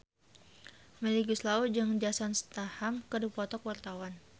Melly Goeslaw jeung Jason Statham keur dipoto ku wartawan